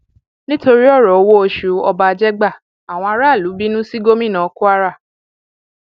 nítorí ọrọ owóoṣù ọba jégbà àwọn aráàlú bínú sí gómìnà kwara